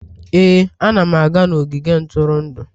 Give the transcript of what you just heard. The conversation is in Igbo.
Ee, ana m aga n'ogige ntụrụndụ